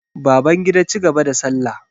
Babangida cigaba da salla.